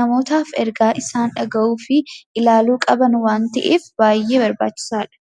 namootaaf oduu isaan dhagahuu fi ilaaluu qaban waan ta’eef baay'ee barbaachisaadha.